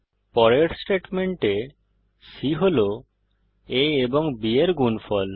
পরের স্টেটমেন্টে c হল a ও b এর গুনফল